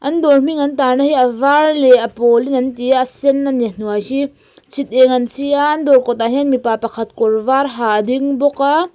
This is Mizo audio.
an dawr hming an tarna hi a var leh a pawlin an ti a a sen a ni hnuai hi chhiteng an chi a an dawr kawtah hian mipa pakhat kawr var ha a ding bawk a.